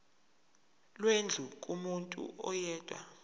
lwendlu kumuntu oyedwa